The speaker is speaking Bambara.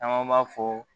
Caman b'a fɔ